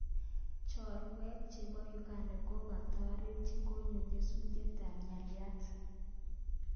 Cherwae chepo Uganda kokataret chekoyor nyesutiet ap nyalitat.